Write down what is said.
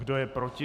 Kdo je proti?